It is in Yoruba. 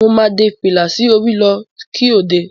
Mo máa dé fìlà sí orí lọ́ kí òde.